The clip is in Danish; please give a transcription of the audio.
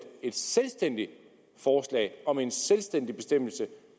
et selvstændigt forslag om en selvstændig bestemmelse